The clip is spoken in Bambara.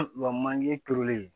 Wa manje turulen